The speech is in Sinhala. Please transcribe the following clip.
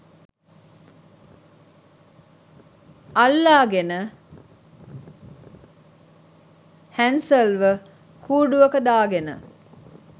අල්ලාගෙන හැන්සල්ව කුඩුවක දාගෙන